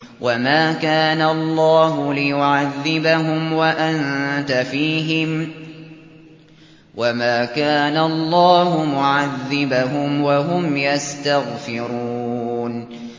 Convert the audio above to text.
وَمَا كَانَ اللَّهُ لِيُعَذِّبَهُمْ وَأَنتَ فِيهِمْ ۚ وَمَا كَانَ اللَّهُ مُعَذِّبَهُمْ وَهُمْ يَسْتَغْفِرُونَ